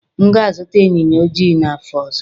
M ga-azụta ịnyịnya ojii n'afọ ọzọ.